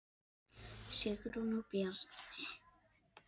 Sigrún og Bjarni.